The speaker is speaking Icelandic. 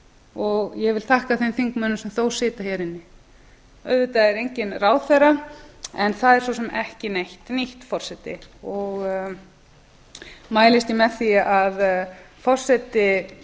og ég vil þakka þeim þingmönnum sem þó sitja hér inni auðvitað er enginn ráðherra en það er svo sem ekki neitt nýtt forseti og mælist ég með því að hæstvirtur forseti